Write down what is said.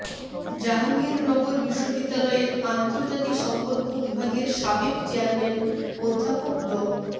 জাহাঙ্গীরনগর বিশ্ববিদ্যালয়ের আন্তর্জাতিক সম্পর্ক বিভাগের সাবেক চেয়ারম্যান অধ্যাপক ড